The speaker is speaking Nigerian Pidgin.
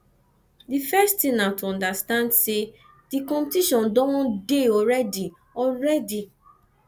di first thing na to understand sey di competition don dey already already